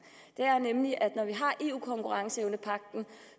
nemlig at når vi har eu konkurrenceevnepagten